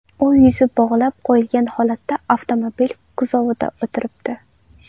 U yuzi bog‘lab qo‘yilgan holatda avtomobil kuzovida o‘tiribdi.